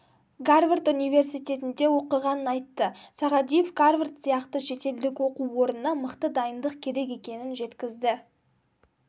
гарвард университетінде оқығанын айтты сағадиев гарвард сияқты шетелдік оқу орнына мықты дайындық керек екенін жеткізді